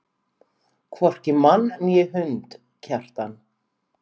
Hvorki mann né hund, Kjartan.